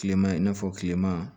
Kilema i n'a fɔ kilema